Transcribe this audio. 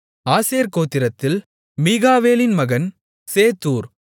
ஆசேர் கோத்திரத்தில் மிகாவேலின் மகன் சேத்தூர்